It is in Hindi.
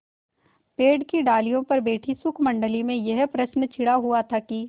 पेड़ की डालियों पर बैठी शुकमंडली में यह प्रश्न छिड़ा हुआ था कि